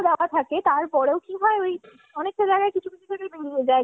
দেওয়া থাকে তারপরেও কি হয় ওই অনেকটা জায়গায়